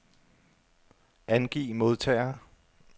Angiv modtagere.